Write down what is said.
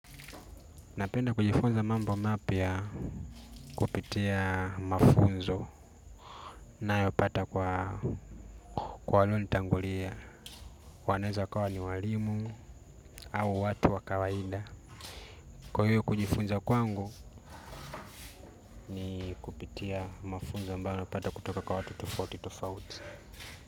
Napenda kujifunza mambo mapya kupitia mafunzo nayopata kwa walonitangulia wanaweza wakawa ni walimu au watu wa kawaida. Kwa hiyo kujifunza kwangu ni kupitia mafunzo ambayo napata kutoka kwa watu tofauti tofauti.